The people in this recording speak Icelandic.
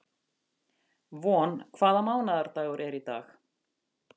Von, hvaða mánaðardagur er í dag?